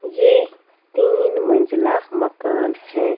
ये तीन मंज़िला मकान हैं --